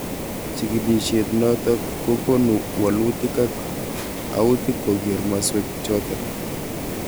Chikilishet notok kokonu walutik ak autik koker maswek chotok.